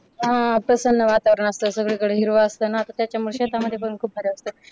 हा प्रसन्न वातावरण असतं सगळीकडे हिरव असत ना त्याच्यामुळे शेतामध्ये पण खूप भारी वाटतं.